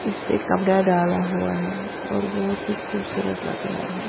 इस पे कपड़ा डाला हुआ है और बहुत ही खूबसूरत लग रहा है।